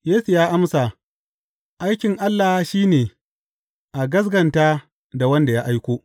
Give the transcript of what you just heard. Yesu ya amsa, Aikin Allah shi ne, a gaskata da wanda ya aiko.